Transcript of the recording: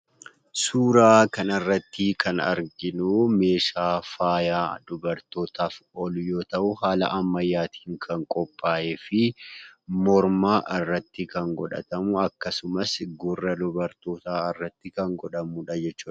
Suuraa kanarrattii kan arginuu meeshaa faayaa dubartotaaf oolu yoo ta'uu haala ammayyaatiin kan qophaa'ee fi morma irratti kan godhatamu akkasumas gurra dubartootaa irratti kan godhamudha jechuudha.